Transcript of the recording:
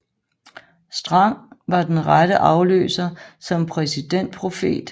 Strang var den rette afløser som præsidentprofet i Jesu Kristi Kirke af Sidste Dages Hellige